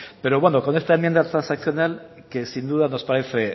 pero bueno con esta enmienda transaccional que sin duda nos parece